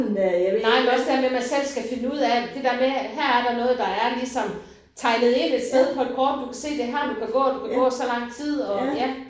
Nej men også der med man selv skal finde ud af det der med her er der noget der er ligesom tegnet ind et sted på et kort du kan se det er her du kan gå du kan gå så lang tid og ja